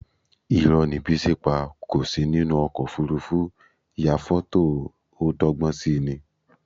Irọ́ ni Bísí pa, kò sí nínú ọkọ̀ òfuurufú ya fọ́tò ó dọ́gbọ́n si ni